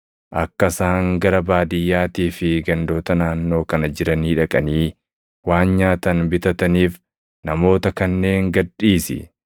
Akka isaan gara baadiyyaatii fi gandoota naannoo kana jiranii dhaqanii waan nyaatan bitataniif namoota kanneen gad dhiisi.”